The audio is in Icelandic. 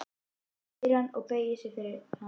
spyr hann og beygir sig yfir hana.